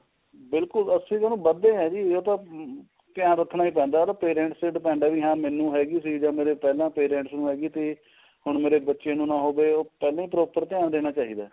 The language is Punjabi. ਬਿਲਕੁਲ ਅਸੀਂ ਤਾਂ ਉਹਨੂੰ ਮਣਦੇ ਏ ਜੀ ਉਹ ਤਾਂ ਧਿਆਨ ਰੱਖਣਾ ਹੀ ਪੈਂਦਾ ਉਹ ਤਾਂ parents ਤੇ depend ਏ ਵੀ ਹਾਂ ਮੈਨੂੰ ਹੈਗੀ ਸੀ ਜਾਂ ਮੇਰੇ ਪਹਿਲਾਂ parents ਨੂੰ ਹੈਗੀ ਤੇ ਹੁਣ ਮੇਰੇ ਬੱਚੇ ਨੂੰ ਨਾ ਹੋਵੇ ਉਹ ਪਹਿਲਾਂ ਹੀ proper ਧਿਆਨ ਦੇਣਾ ਚਾਹੀਦਾ